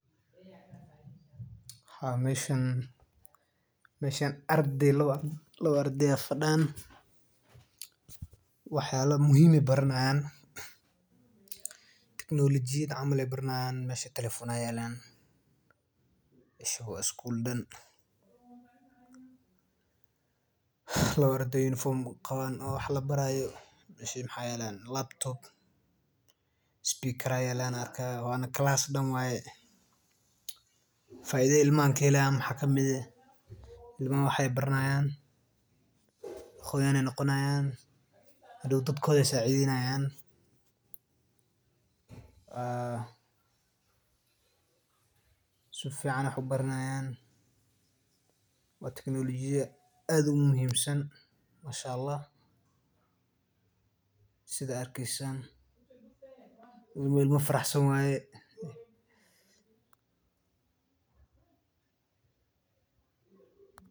Haa meeshan ardey laba ardey ayaa fadaan wax yaaba muhiim ayeey barani haayan teknolojiyada ayeey barani haayan meeshan iskuul waye calaas dan waye faidada waxaa kamid ah imaha wax baay baranayan hadoow dadkooda ayeey sacideynayaan ilma faraxsan waye.